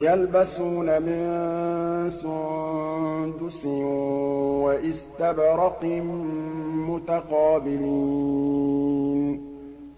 يَلْبَسُونَ مِن سُندُسٍ وَإِسْتَبْرَقٍ مُّتَقَابِلِينَ